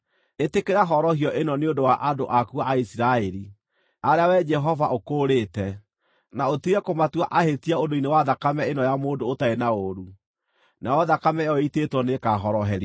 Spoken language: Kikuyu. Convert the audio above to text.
Ĩtĩkĩra horohio ĩno nĩ ũndũ wa andũ aku a Isiraeli, arĩa Wee Jehova ũkũũrĩte, na ũtige kũmatua ahĩtia ũndũ-inĩ wa thakame ĩno ya mũndũ ũtarĩ na ũũru.” Nayo thakame ĩyo ĩitĩtwo nĩĩkahoroherio.